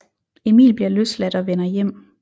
Emil bliver løsladt og vender hjem